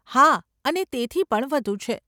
હા, અને તેથી પણ વધુ છે.